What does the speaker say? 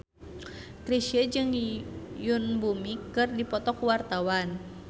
Chrisye jeung Yoon Bomi keur dipoto ku wartawan